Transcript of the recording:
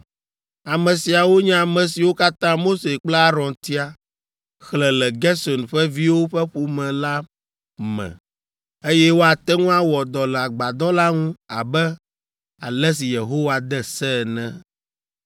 Ame siawo nye ame siwo katã Mose kple Aron tia, xlẽ le Gerson ƒe viwo ƒe ƒome la me, eye woate ŋu awɔ dɔ le agbadɔ la ŋu abe ale si Yehowa de se ene.